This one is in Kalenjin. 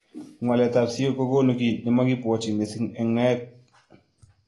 Ngwalet ab siok kokunu ki nemakibwotyin missing eng naet.